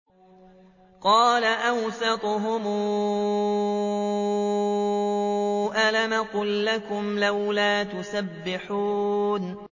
قَالَ أَوْسَطُهُمْ أَلَمْ أَقُل لَّكُمْ لَوْلَا تُسَبِّحُونَ